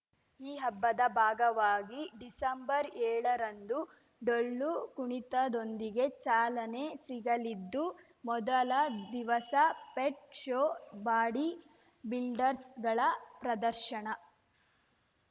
ಈ ಹಬ್ಬದ ಭಾಗವಾಗಿ ಡಿಸೆಂಬರ್ಏಳರಂದು ಡೊಳ್ಳು ಕುಣಿತದೊಂದಿಗೆ ಚಾಲನೆ ಸಿಗಲಿದ್ದು ಮೊದಲ ದಿವಸ ಪೆಟ್‌ ಶೋ ಬಾಡಿ ಬಿಲ್ಡರ್‍ಸ್ಗಳ ಪ್ರದರ್ಶನ